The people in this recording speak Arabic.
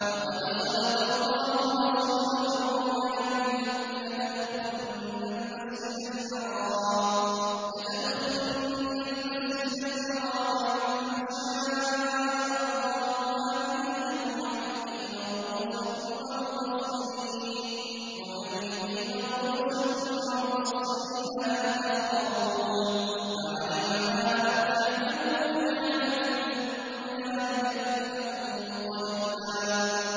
لَّقَدْ صَدَقَ اللَّهُ رَسُولَهُ الرُّؤْيَا بِالْحَقِّ ۖ لَتَدْخُلُنَّ الْمَسْجِدَ الْحَرَامَ إِن شَاءَ اللَّهُ آمِنِينَ مُحَلِّقِينَ رُءُوسَكُمْ وَمُقَصِّرِينَ لَا تَخَافُونَ ۖ فَعَلِمَ مَا لَمْ تَعْلَمُوا فَجَعَلَ مِن دُونِ ذَٰلِكَ فَتْحًا قَرِيبًا